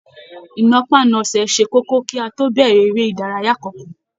Ìnàpánasẹ̀ ṣe kókó kí a tó bẹrẹ eré ìdárayá kánkan.